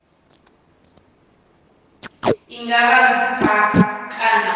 i nga vha nṱha kana